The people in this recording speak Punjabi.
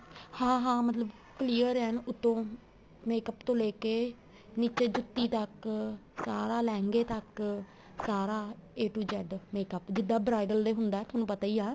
ਹਾਂ ਹਾਂ ਮਤਲਬ clear ਐਨ ਉੱਥੋ makeup ਤੋ ਲੈਕੇ ਨੀਚੇ ਜੁੱਤੀ ਤੱਕ ਸਾਰਾ ਲਹਿੰਗੇ ਤੱਕ ਸਾਰਾ a to z makeup ਜਿੱਦਾਂ bridal ਦੇ ਹੁੰਦਾ ਤੁਹਾਨੂੰ ਪਤਾ ਹੀ ਆ